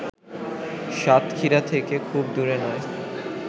সাতক্ষীরা থেকে খুব দূরে নয়